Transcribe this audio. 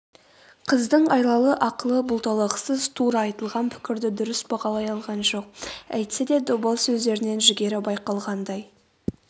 қыздың айлалы ақылы бұлталақсыз тура айтылған пікірді дұрыс бағалай алған жоқ әйтсе де добал сөздерінен жігері байқалғандай